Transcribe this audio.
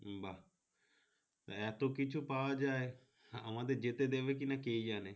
বা এতকিছু পাওয়া যাই আমাদের যেতে দিবে কিনা কে জানে।